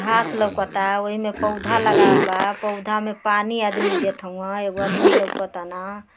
घांस लौउकता। ओहिमे पौधा लगावल बा। पौधा में पानी आदमी देत हउह। एगो आदमी लौकतन।